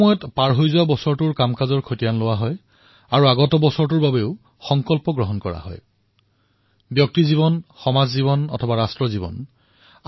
সেয়া লাগিলে ব্যক্তিৰ জীৱনেই হওক বা ৰাষ্ট্ৰৰ জীৱনেই হওক সকলোৱে পিছলৈ ঘূৰি চোৱাও প্ৰয়োজন আৰু আগলৈ যিমান দূৰলৈ চাব পাৰে সিমান দূৰলৈ চোৱাৰ প্ৰয়াস কৰিব লাগে আৰু তেতিয়াহে অভিজ্ঞতাৰ ফল লাভ হয় আৰু নতুন কিবা এটা কৰাৰ আত্মবিশ্বাস জাগি উঠে